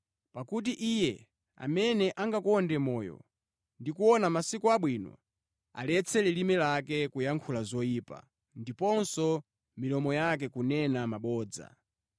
Pakuti, “Iye amene angakonde moyo ndi kuona masiku abwino, aletse lilime lake kuyankhula zoyipa, ndiponso milomo yake kunena mabodza.